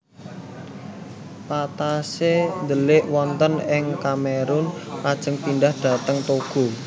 Patassé ndelik wonten ing Kamerun lajeng pindhah dhateng Togo